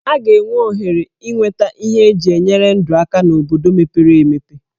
A ga-enwe ohere inweta ihe eji enyere ndụ aka n'obodo mepere emepe.